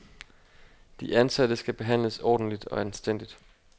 De ansatte skal behandles ordentligt og anstændigt.